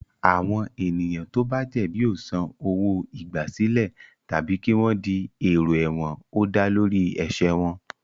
Àwọn ènìyàn tó bá jẹ̀bi yóò san owó-igbàsílẹ̀ tàbí kí wọ́n di èrò ẹ̀wọ̀n ó dá lórí ẹ̀ṣẹ̀ wọn.